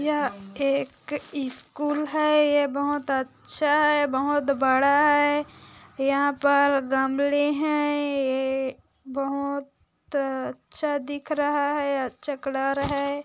यह एक स्कूल है ये बहोत अच्छा है ये बहुत बड़ा है यहाँ पर गमले है बहोत अच्छा दिख रहा है अच्छा कलर है।